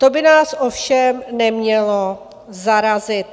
To by nás ovšem nemělo zarazit.